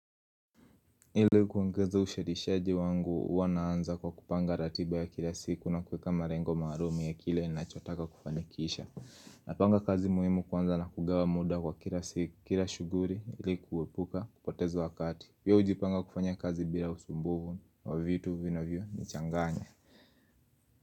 Ile kuongeza ushadishaji wangu huwa naanza kwa kupanga ratiba ya kila siku na kuweka malengo maalumi ya kile ninachotaka kufanikisha Napanga kazi muhimu kwanza na kugawa muda kwa kila shughuli ili kuepuka kupotezo wakati hiVyo ujipanga kufanya kazi bila usumbuvu wa vitu vina vio ni changanya.